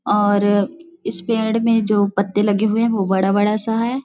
और इस पेड़ में जो पत्ते लगे हुए है भो बड़ा-बड़ा सा है।